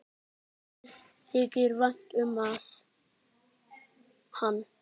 Mér þykir vænt um hann.